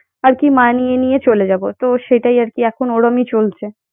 আর কি মানিয়ে নিয়ে চলে যাব তো সেটাই আর কি ওরমই চলছে।